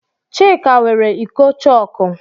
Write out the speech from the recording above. Chika weere iko chọọkụ.